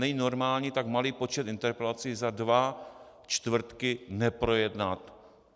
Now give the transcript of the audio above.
Není normální tak malý počet interpelací za dva čtvrtky neprojednat.